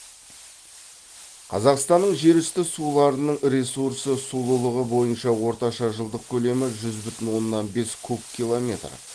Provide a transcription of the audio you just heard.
қазақстанның жер үсті суларының ресурсы сулылығы бойынша орташа жылдық көлемі жүз бүтін оннан бес куб километр